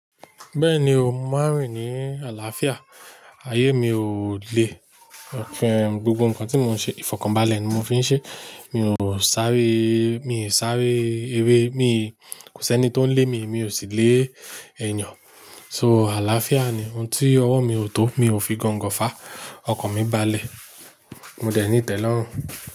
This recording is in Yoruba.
Bẹ́ẹ̀ni o, mo máa ń rìn ní àlàáfíà, ayé mi ò le, gbogbo nǹkan tí mò ń ṣe, ìfọ̀kànbalẹ̀ ni mo fi ń ṣe. Mi ò sáré, mi ò sáré eré, kò sí ẹni tó ń lé mi, mi ò sì lé ènìyàn. So àlàáfíà ni, ohun tí ọwọ́ mi ò tó, mi ò fi gangan fàá, ọkọ̀ mi balẹ̀. Mo dẹ̀ ní ìtẹ́lọ́rùn.